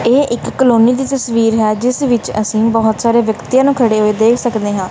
ਇਹ ਇੱਕ ਕਲੋਨੀ ਦੀ ਤਸਵੀਰ ਹੈ ਜਿਸ ਵਿੱਚ ਅਸੀਂ ਬਹੁਤ ਸਾਰੇ ਵਿਅਕਤੀਆਂ ਨੂੰ ਖੜੇ ਹੋਏ ਦੇਖ ਸਕਦੇ ਹਾਂ।